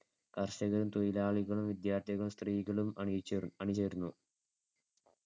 കർഷകരും തൊഴിലാളികളും വിദ്യാർത്ഥികളും സ്ത്രീകളും അണിയിച്ചു~ അണിചേർന്നു.